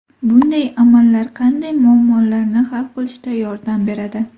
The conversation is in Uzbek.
Bunday amallar qanday muammolarni hal qilishda yordam beradi?